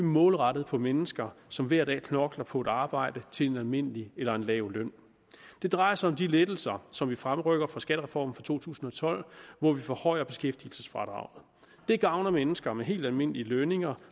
målrettet på mennesker som hver dag knokler på et arbejde til en almindelig eller en lav løn det drejer sig om de lettelser som vi fremrykker fra skattereformen fra to tusind og tolv hvor vi forhøjer beskæftigelsesfradraget det gavner mennesker med helt almindelige lønninger